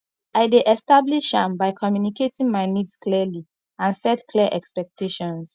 i dey establish am by communicating my needs clearly and set clear expectations